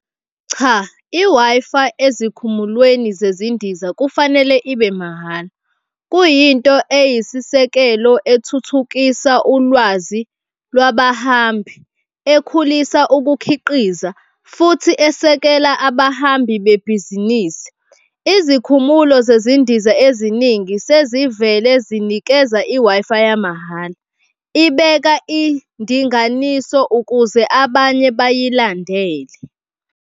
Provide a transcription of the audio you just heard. Cha, i-Wi-Fi ezikhumulweni zezindiza kufanele ibe mahhala. Kuyinto eyisisekelo ethuthukisa ulwazi lwabahambi ekhulisa ukukhiqiza futhi esekela abahambi bebhizinisi. Izikhumulo zezindiza eziningi sezivele zinikeza i-Wi-Fi yamahhala, ibeka indinganiso ukuze abanye bayilandele.